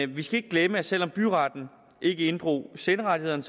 vi skal ikke glemme at selv om byretten ikke inddrog senderettighederne